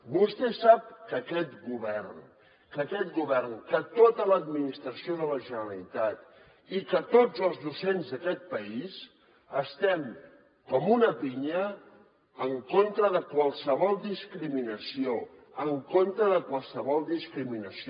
vostè sap que aquest govern que tota l’administració de la generalitat i que tots els docents d’aquest país estem com una pinya en contra de qualsevol discriminació en contra de qualsevol discriminació